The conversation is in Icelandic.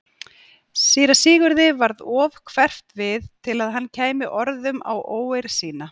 Síra Sigurði varð of hverft við til að hann kæmi orðum að óeirð sinni.